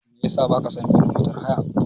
Me yasa ba ka son bin motar haya?